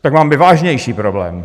tak máme vážnější problémy.